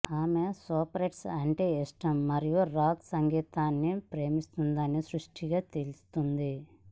ఆమె స్పోర్ట్స్ అంటే ఇష్టం మరియు రాక్ సంగీతాన్ని ప్రేమిస్తుందని స్పష్టంగా తెలుస్తుంది